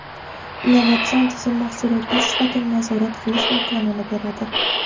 Innovatsion tizim mahsulotlar sifatini nazorat qilish imkonini beradi.